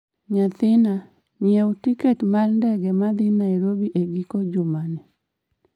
nyathina, nyiewi tiket ma ndege ma dhi Nairobi e giko juma ni